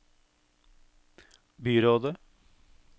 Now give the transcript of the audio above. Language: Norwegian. byrådet